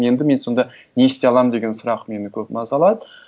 енді мен сонда не істей аламын деген сұрақ мені көп мазалады